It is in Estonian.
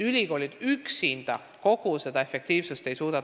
Ülikoolid üksinda kogu seda efektiivsust tagada ei suuda.